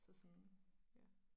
Så sådan ja